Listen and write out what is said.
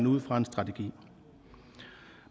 ud fra en strategi